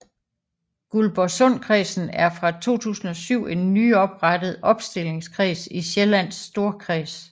Guldborgsundkredsen er fra 2007 en nyoprettet opstillingskreds i Sjællands Storkreds